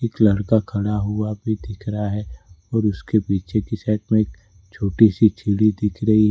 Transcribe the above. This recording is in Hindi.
एक लड़का खड़ा हुआ भी दिख रहा है और उसके पीछे की साइड में एक छोटी सी सीढ़ी दिख रही है।